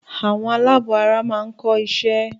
Àwọn aláàbọ̀ara máa ń kọ́ isẹ́